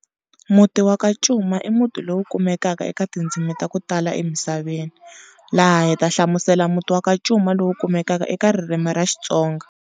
Muti waka Cuma i muti lowu kumekaka eka tindzimi ta ku tala emisaveni, laha hi ta hlamusela muti wa ka Cuma lowu kumekaka eka ririmi ra Xitsonga.